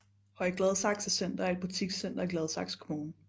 Høje Gladsaxe Center er et butikscenter i Gladsaxe Kommune